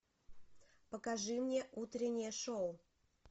покажи мне утреннее шоу